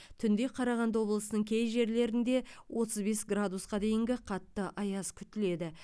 түнде қарағанды облысының кей жерлерінде отыз бес градусқа дейінгі қатты аяз күтіледі